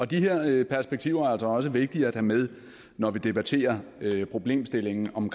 de her perspektiver er altså også vigtige at have med når vi debatterer problemstillingen om